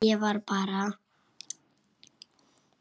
Ég var bara.